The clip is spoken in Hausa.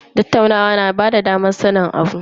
Tattaunawa na bada damar sanin abu.